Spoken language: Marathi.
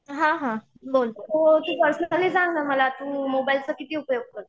तू पर्सनली सांग ना मला तू मोबाईलचा किती उपयोग करते?